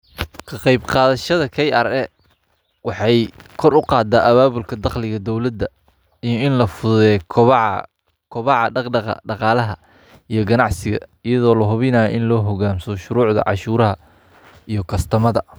Kaqebqathayshad kra waxay kor uqadah ababulka dowladnimatha daqalika iyo ini lafuthutheyoh kabaca daqdaqa daqalaha iyo qanacsiga eyado lahubinayoh ini lo hukansamoh shurucda wadametha iyo customer.